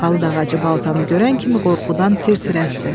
Palıd ağacı baltanı görən kimi qorxudan tir-tir əsdi.